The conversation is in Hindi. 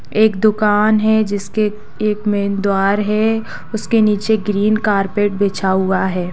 एक दुकान है जिसके एक मैन द्वार है उसके नीचे ग्रीन कार्पेट बिछा हुआ है।